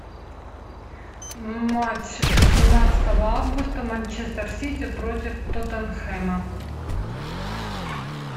матч семнадцатого августа манчестер сити против тоттенхэма